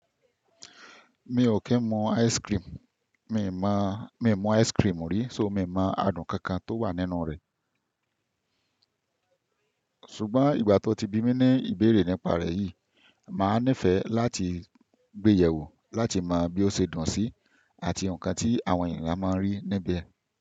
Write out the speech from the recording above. Mi ò kí ń mu ice cream, mi ò mu ice cream rí, ṣò mí mọ adùn kankan tó wà nínú rẹ̀. Ṣùgbọ́n ìgbà tí ó ti bí mi ní ìbéèrè nípa rẹ̀ yìí, màá nífẹ̀ẹ́ láti gbéyẹ̀ wò láti mọ bí ó ṣe dùn sí, àti ǹkan tí àwọn ènìyàn máa ń rí níbẹ̀.